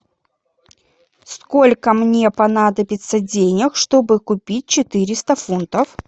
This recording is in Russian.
сколько мне понадобится денег чтобы купить четыреста фунтов